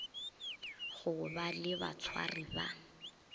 go ba le batshwari ba